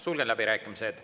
Sulgen läbirääkimised.